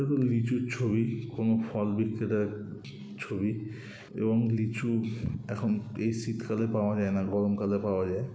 এবং লিচুর ছবি কোনো ফল বিক্রেতার ছবি এবং লিচু এখন এই শীতকালে পাওয়া যায় না। গরম কালে পাওয়া যায় ।